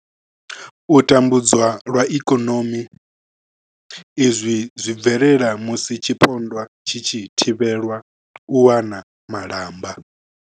U tambudzwa lwa ikonomi, Izwi zwi bvelela musi tshipondwa tshi tshi thivhelwa u wana malamba.